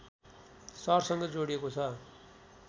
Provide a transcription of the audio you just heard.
सहरसँग जोडिएको छ